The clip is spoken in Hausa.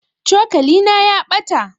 cokalina ya ɓata